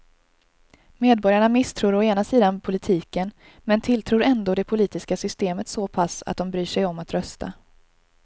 Medborgarna misstror å ena sidan politiken men tilltror ändå det politiska systemet så pass att de bryr sig om att rösta.